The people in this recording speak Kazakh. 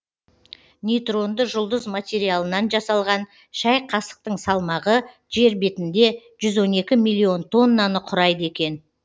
нейтронды жұлдыз материалынан жасалған шәй қасықтың салмағы жер бетінде жүз он екі миллион тоннаны құрайды екен